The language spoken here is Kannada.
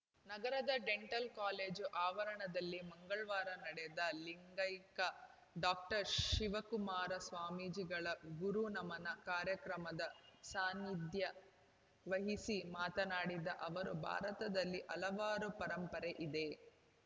ನಗರದ ಡೆಂಟಲ್‌ ಕಾಲೇಜು ಆವರಣದಲ್ಲಿ ಮಂಗಳವಾರ ನಡೆದ ಲಿಂಗೈಕ್ಯ ಡಾಕ್ಟರ್ ಶಿವಕುಮಾರ ಸ್ವಾಮೀಜಿಗಳ ಗುರುನಮನ ಕಾರ್ಯಕ್ರಮದ ಸಾನಿಧ್ಯ ವಹಿಸಿ ಮಾತನಾಡಿದ ಅವರು ಭಾರತದಲ್ಲಿ ಹಲವಾರು ಪರಂಪರೆ ಇದೆ